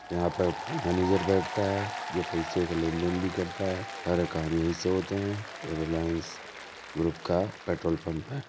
यहाँ पप मैनेजर बैठता है जो पैसे का लेन देन भी करता है। सारा काम यही से होते हैं। ये रिलायंस ग्रुप का पेट्रोल पंप है।